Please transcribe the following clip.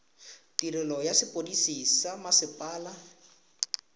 tirelo ya sepodisi sa mmasepala